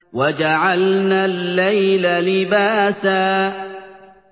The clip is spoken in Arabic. وَجَعَلْنَا اللَّيْلَ لِبَاسًا